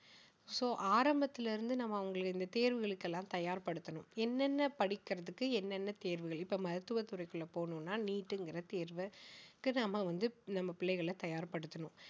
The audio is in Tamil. so ஆரம்பத்திலிருந்து நம்ம அவங்களுக்கு இந்த தேர்வுகளுக்கு எல்லாம் தயார்படுத்தணும் என்னென்ன படிக்கிறதுக்கு என்னென்ன தேர்வுகள் இப்ப மருத்துவ துறைக்குள்ள போகணும்னா neet ங்கற தேர்வு அதுக்கு நாம வந்து நம்ம பிள்ளைகளை தயார்படுத்தணும்